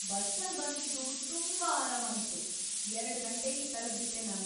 ಬಸ್ಸಲ್ ಬಂದಿದ್ದು ತುಂಬಾ ಆರಾಮಾಗಿತ್ತು, ಎರಡು ಗಂಟೆಲಿ ತಲುಪ್‌ಬಿಟ್ಟೆ ನಾನು.